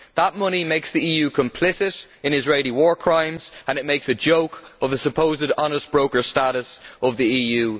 That money makes the EU complicit in Israeli war crimes and it makes a joke of the supposed honest broker status of the EU.